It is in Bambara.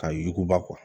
Ka yuguba